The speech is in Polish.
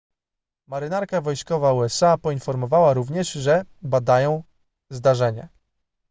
marynarka wojskowa usa poinformowała również że badają zdarzenie